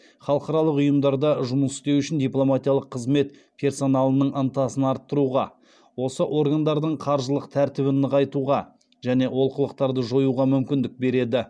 халықаралық ұйымдарда жұмыс істеу үшін дипломатиялық қызмет персоналының ынтасын арттыруға осы органдардың қаржылық тәртібін нығайтуға және олқылықтарды жоюға мүмкіндік береді